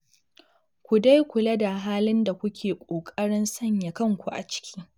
Ku dai kula da halin da kuke ƙoƙarin sanya kanku a ciki